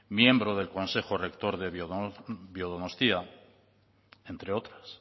miembro del consejo rector de biodonostia entre otras